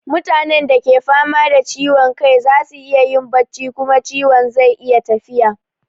Mutanen da ke fama da ciwon kai za su iya yin bacci kuma ciwon zai iya tafiya.